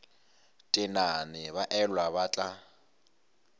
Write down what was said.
tenane ba elwa ba tla